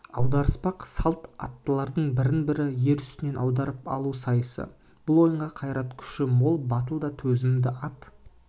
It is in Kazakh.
аударыспақсалт аттылардың бірін-бірі ер үстінен аударып алу сайысы бұл ойынға қайрат-күші мол батыл да төзімді ат